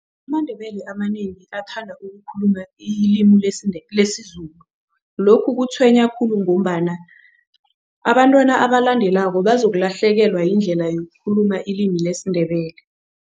AmaNdebele amanengi athanda ukukhuluma ilimi lesiZulu. Lokhu kutshwenya khulu ngombana abantwana abalandelako bazolahlekelwa yindlela yokukukhuluma ilimi lesiNdebele.